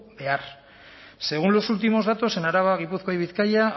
behar según los últimos datos en araba gipuzkoa y bizkaia